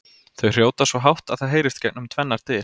Þau hrjóta svo hátt að það heyrist gegnum tvennar dyr!